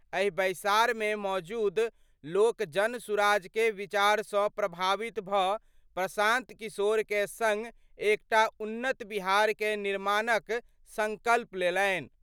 एहि बैसार मे मौजूद लोक जनसुराज कए विचार सँ प्रभावित भ प्रशांत किशोर कए संग एकटा उन्नत बिहार कए निर्माण क संकल्प लेलनि।